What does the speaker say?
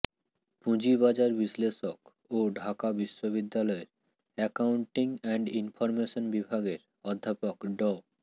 পুঁজিবাজার বিশ্লেষক ও ঢাকা বিশ্ববিদ্যালয়ের একাউনন্টিং অ্যান্ড ইনফরমেশন বিভাগের অধ্যাপক ড